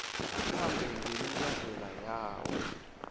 akhambe ngemibandela yawo